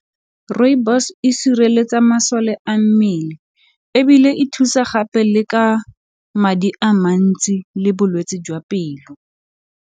Rooibos e sireletsa masole a mmele ebile e thusa gape le ka madi a mantsi le bolwetse jwa pelo.